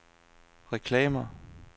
reklamer